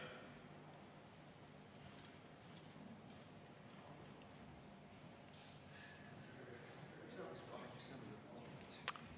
Kas saaks kaheksa minutit?